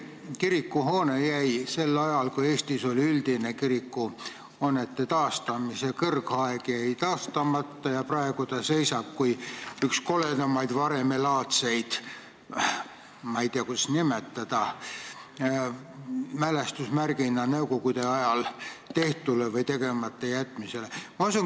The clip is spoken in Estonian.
See kirikuhoone jäi sel ajal, kui Eestis oli üldine kirikuhoonete taastamise kõrgaeg, taastamata ja praegu ta seisab kui üks kõige koledamaid varemelaadseid mälestusmärke nõukogude ajal tehtule või tegemata jätmisele.